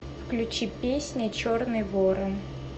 включи песня черный ворон